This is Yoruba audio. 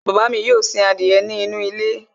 Bàbá mi yóò sin adìyẹ nínú ilé